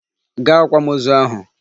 Gaa akwamozu ahụ!